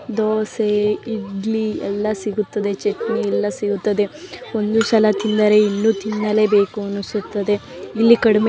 ದೋಸೆ ಇಡ್ಲಿ ಎಲ್ಲ ಸಿಗುತ್ತದೆ ಚೆಟ್ನಿ ಎಲ್ಲ ಸಿಗುತ್ತದೆ ಒಂದು ಸಲ ತಿಂದರೆ ಇನ್ನು ತಿನ್ನಲೆಬೇಕು ಅನಿಸುತ್ತದೆ ಇಲ್ಲಿ ಕಡಿಮೆ --